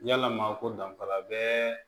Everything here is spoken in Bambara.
Yalama ko danfara bɛ